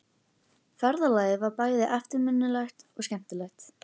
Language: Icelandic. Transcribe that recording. Ferðalagið var bæði eftirminnilegt og skemmtilegt.